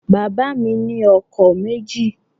Bàbá mi ni ọkọ̀ méjì